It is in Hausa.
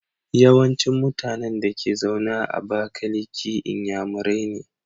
Yawancin mutAnan Dake zaune a abakaliki inyamurai ne